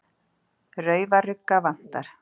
Raufarugga vantar.